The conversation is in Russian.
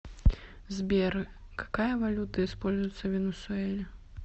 сбер какая валюта используется в венесуэле